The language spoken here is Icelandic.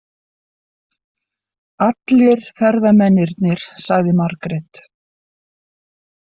Allir ferðamennirnir, sagði Margrét.